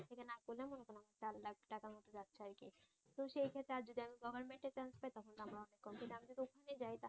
তো সেই ক্ষেত্রে আর যদি আমি গভর্নমেন্টে চান্স পাই তখন আমার আমি যদি ওখানে যাই